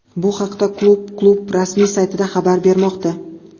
Bu haqda klub klub rasmiy saytida xabar bermoqda .